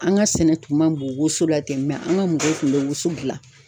An ka sɛnɛ tun man bon woso la ten an ka mɔgɔw tun bɛ woso dilan.